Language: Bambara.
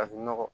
Farafinnɔgɔ